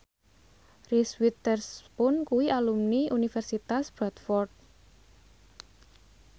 Reese Witherspoon kuwi alumni Universitas Bradford